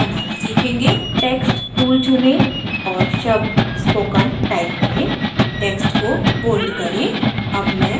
text tool चुनें और शब्द spoken type करें text को bold करें